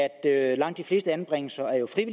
at langt de fleste anbringelser jo er